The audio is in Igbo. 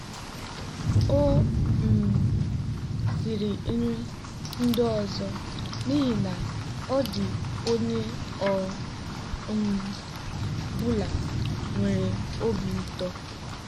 O um siri nri ndị ọzọ n'ihi na ọ dị onye ọ um bụla nwere obi ụtọ.